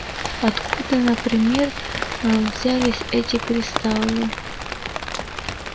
откуда например взялись эти кристаллы